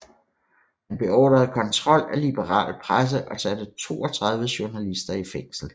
Han beordrede kontrol af liberal presse og satte 32 journalister i fængsel